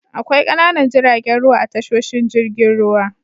Akwai ƙananan jiragen ruwa a tashoshin jirgin ruwa.